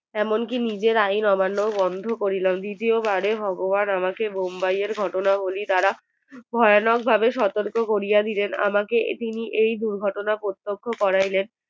এমনকি নিজের আইন অমান্য বন্ধ করলাম দ্বিতীয় বার ভগবান আমাকে বম্বায়ের ঘটনাগুলি দ্বারা ভয়ানক ভাবে সতর্ক করিয়া দিলেন আমাকে তিনি এই দুর্ঘটনা প্রত্যক্ষ করাইলেন